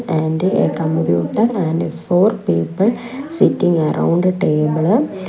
and a computer and four people sitting around table.